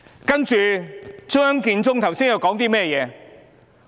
然而，張建宗剛才說甚麼？